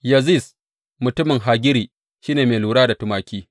Yaziz mutumin Hagiri shi ne mai lura da tumaki.